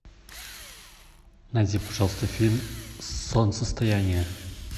найди пожалуйста фильм солнцестояние